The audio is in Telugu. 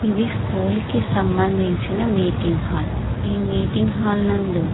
ఇది స్కూల్ కి సంబంధించిన మీటింగ్ హాల్ ఈ మీటింగ్ హాల్ నందు --